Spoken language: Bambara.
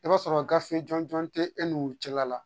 I b'a sɔrɔ gafe jɔn jɔn te e n'u cɛla la.